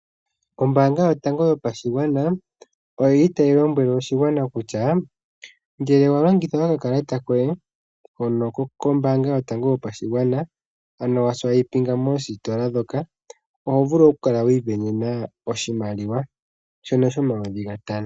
Ombanga yotango yopashigwana oyili tayi lombwele oshigwana kutya ngele wa longitha oka kalata koye hono kombanga yotango yopashigwana ano waswipinga moositola ndhoka oho vulu oku kala wi isindanena oshimaliwa shono shomayovi gatano.